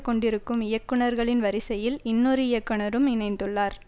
கொண்டிருக்கும் இயக்குனர்களின் வரிசையில் இன்னொரு இயக்குனரும் இணைந்துள்ளார்